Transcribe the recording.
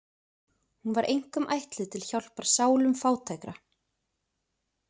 Hún var einkum ætluð til hjálpar sálum fátækra.